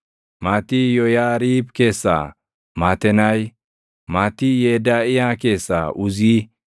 maatii Yooyaariib keessaa Matenaayi; maatii Yedaaʼiyaa keessaa Uzii;